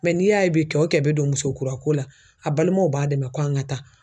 n'i y'a ye bi kɛ o kɛ be don muso kura ko la a balimaw b'a dɛmɛ ko an ŋa taa.